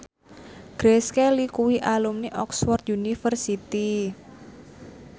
Grace Kelly kuwi alumni Oxford university